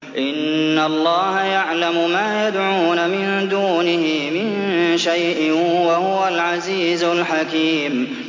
إِنَّ اللَّهَ يَعْلَمُ مَا يَدْعُونَ مِن دُونِهِ مِن شَيْءٍ ۚ وَهُوَ الْعَزِيزُ الْحَكِيمُ